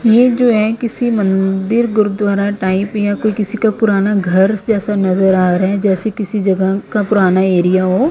ये जो है किसी मंदिर गुरुद्वारा टाइप या कोई किसी का पुराना घर जैसा नजर आ रहा है जैसे किसी जगह का पुराना एरिया हो ।